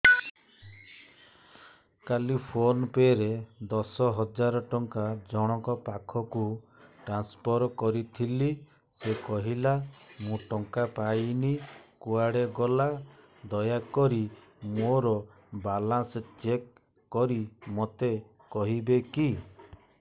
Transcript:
କାଲି PhonePe ରେ ଦଶ ହଜାର ଟଙ୍କା ଜଣକ ପାଖକୁ ଟ୍ରାନ୍ସଫର୍ କରିଥିଲି ସେ କହିଲା ମୁଁ ଟଙ୍କା ପାଇନି କୁଆଡେ ଗଲା ଦୟାକରି ମୋର ବାଲାନ୍ସ ଚେକ୍ କରି ମୋତେ କହିବେ କି